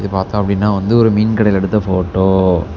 இத பாத்தாப்படின்னா வந்து ஒரு மீன் கடையில் எடுத்த போட்டோ .